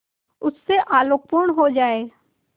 उससे आलोकपूर्ण हो जाए